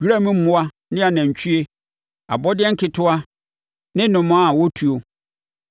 wira mu mmoa ne anantwie, abɔdeɛ nketewa ne nnomaa a wɔtuo,